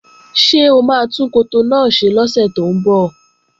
Ṣé o máa tún koto náà ṣe lọ́sẹ̀ tó ń bọ̀?